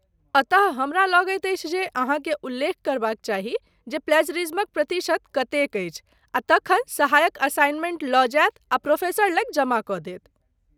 अतः, हमरा लगैत अछि जे अहाँकेँ उल्लेख करबाक चाही जे प्लैज़रिज्मक प्रतिशत कतेक अछि आ तखन सहायक असाइनमेंट लऽ जायत आ प्रोफेसर लग जमा कऽ देत।